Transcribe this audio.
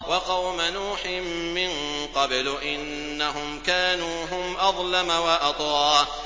وَقَوْمَ نُوحٍ مِّن قَبْلُ ۖ إِنَّهُمْ كَانُوا هُمْ أَظْلَمَ وَأَطْغَىٰ